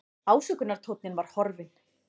Ásökunartónninn var horfinn.